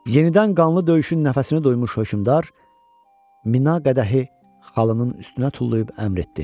Yenidən qanlı döyüşün nəfəsini döymüş hökmdar mina qədəhi xalının üstünə tullayıb əmr etdi.